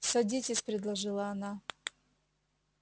садитесь предложила она